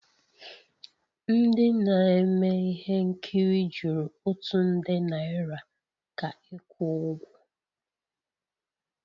M ndị na-eme ihe nkiri jụrụ otu nde naira ka ịkwụ ụgwọ